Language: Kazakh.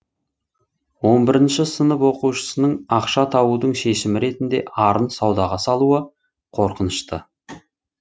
он бірінші сынып оқушысының ақша табудың шешімі ретінде арын саудаға салуы қорқынышты